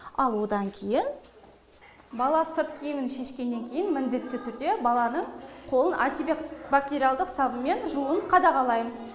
ал одан кейін бала сырт киімін шешкеннен кейін міндетті түрде баланың қолын антибак бактериалдық сабынмен жууын қадағалаймыз